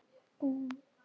Lýðræði er ferli í þróun.